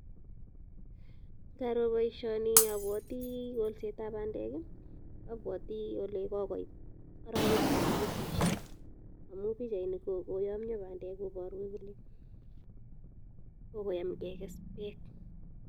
Ngaro boisioni abwoti kolsetab bandek, abwoti ole kogoit arawek che kigesisei, amu pichaini ko kogoyomnyo bandek koboru kole kogoyam keges beek.